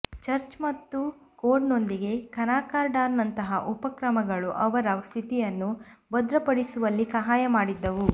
church ಮತ್ತು ಕೋಡ್ನೊಂದಿಗೆ ಕಾನ್ಕಾರ್ಡಾಟ್ನಂತಹ ಉಪಕ್ರಮಗಳು ಅವರ ಸ್ಥಿತಿಯನ್ನು ಭದ್ರಪಡಿಸುವಲ್ಲಿ ಸಹಾಯ ಮಾಡಿದ್ದವು